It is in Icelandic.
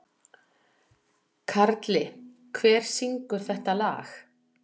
Karli, hver syngur þetta lag?